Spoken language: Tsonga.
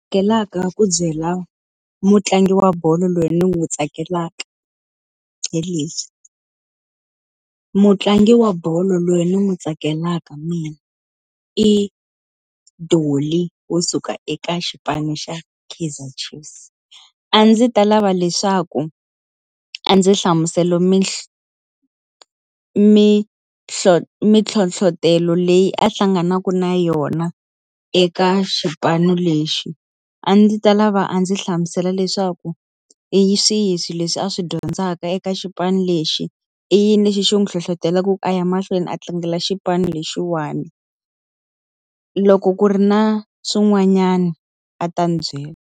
ku byela mutlangi wa bolo loyi ni n'wi tsakelaka hi leswi. Mutlangi wa bolo loyi ni n'wi tsakelaka mina i Dolly wo suka eka xipano xa Keizer Chiefs. A ndzi ta lava leswaku a ndzi hlamusela mintlhotlho leyi a hlanganaka na yona eka xipano lexi. A ndzi ta lava a ndzi hlamusela leswaku hi swihi swilo leswi a swi dyondzaka eka xipano lexi? I yini lexi xi n'wi hlohletelaka ku a ya mahlweni a tlangela xipano lexiwani? Loko ku ri na swin'wanyana a ta ndzi byela.